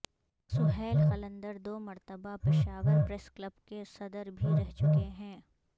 سہیل قلندر دو مرتبہ Peshawar press club کے صدر بھی رہ چکے ہیں